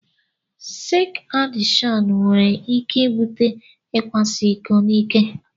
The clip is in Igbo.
Seks adikshon nwere ike ibute ikwaso iko n'ike.